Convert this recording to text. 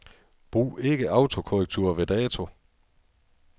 Brug ikke autokorrektur ved dato.